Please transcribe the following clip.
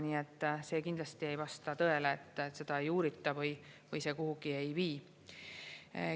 Nii et see kindlasti ei vasta tõele, et seda ei uurita või see kuhugi ei vii.